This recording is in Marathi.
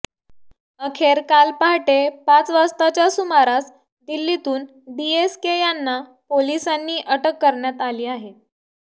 अखेर काल पहाटे पाच वाजताच्या सुमारास दिल्लीतून डीएसके यांना पोलिसांनी अटक करण्यात आली आहे